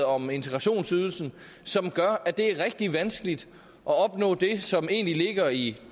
om integrationsydelsen som gør at det er rigtig vanskeligt at opnå det som egentlig ligger i